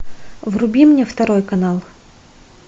вруби мне второй канал